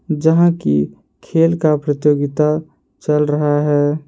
जहां की खेल का प्रतियोगिता चल रहा है।